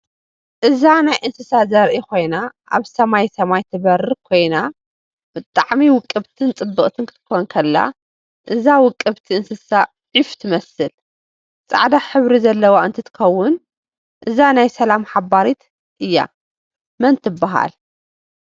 እዛ ናይ እንስሳ ዘርእ ኮይና ኣብ ሰማሰማይ ትበርር ኮይና ብጣዓሚ ውቅብትን ፅብእት ክትኮን ከላ እዚ ውቅብቲ እንስሳ ዕፍ ትመስለ ፃዕዳ ሕብሪ ዘላወ እንትትከውን እዛ ናይ ሰላም ሓባሪት እያ መን ትብሃል?